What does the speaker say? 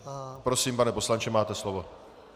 Prosím, pane poslanče, máte slovo.